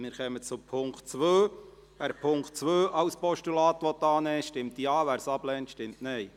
Wer den Punkt 2 als Postulats annehmen will, stimmt Ja, wer dies ablehnt, stimmt Nein.